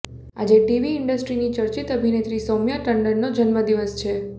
આજે ટીવી ઈન્ડસ્ટ્રીની ચર્ચિત અભિનેત્રી સૌમ્યા ટંડનનો જન્મદિવસ છે